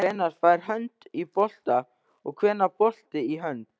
Hvenær fer hönd í bolta og hvenær bolti í hönd?